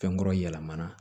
Fɛnkɔrɔ yɛlɛmana